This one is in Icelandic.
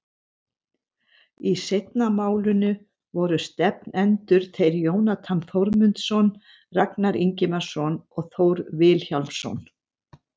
Í seinna málinu voru stefnendur þeir Jónatan Þórmundsson, Ragnar Ingimarsson og Þór Vilhjálmsson.